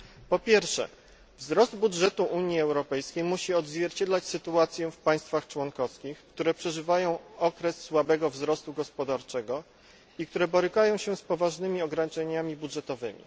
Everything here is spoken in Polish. Po pierwsze, wzrost budżetu Unii Europejskiej musi odzwierciedlać sytuację w państwach członkowskich, które przeżywają okres słabego wzrostu gospodarczego i które borykają się z poważnymi ograniczeniami budżetowymi.